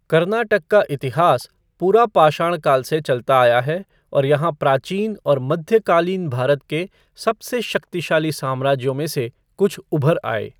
कर्नाटक का इतिहास पुरापाषाण काल से चलता आया है और यहाँ प्राचीन और मध्यकालीन भारत के सबसे शक्तिशाली साम्राज्यों में से कुछ उभर आए।